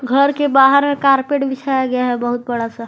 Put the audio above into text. घर के बाहर में कारपेट बिछाया गया है बहुत बड़ा सा।